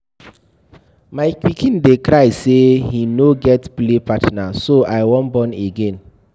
My pikin dey cry say he no get play partner so I wan born again.